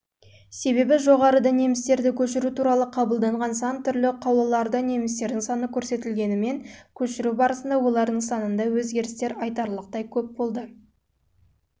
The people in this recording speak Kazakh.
себебі жоғарыда немістерді көшіру туралы қабылданған сан түрлі қаулыларда немістердің саны көрсетілгенімен көшіру барысында олардың санында өзгерістер